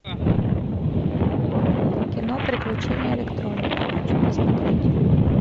кино приключения электроника хочу посмотреть